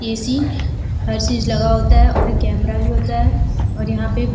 AC. हर चीज लगा होता है और ए कैमरा भी होता है और यहाँ पे --